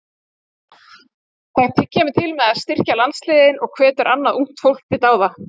Það kemur til með að styrkja landsliðin og hvetur annað ungt fólk til dáða.